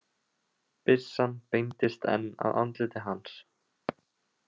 Byssan beindist enn að andliti hans.